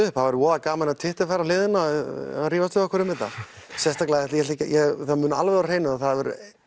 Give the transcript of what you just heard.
upp það væri voða gaman ef Twitter færi á hliðina að rífast við okkur um þetta það er alveg á hreinu að